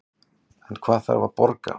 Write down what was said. En hvað þarf að borga